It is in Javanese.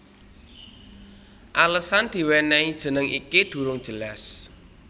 Alesan diwenehi jeneng iki durung jelas